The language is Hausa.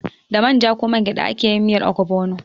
Da manja ko mangyada ake yin miyar ogbono.